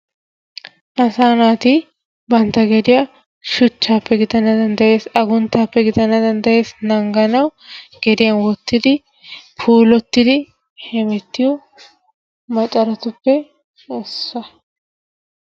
Asaa naati bantta giddiyaa shuchaappe gidana danddayees, aguntaappe gidana danddayees, naaganawu geddiya wottidi puulattidi hemmettiyo macaratuppe issuwa.